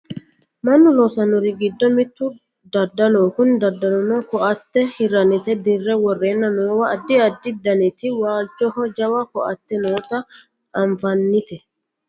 Mannu loosannori giddo mittu daddaloho kuni daddalino ko"atte hirrannita dirre worreenna noowa addi addi daniti waalchoho jawa ko"atte noota anfannite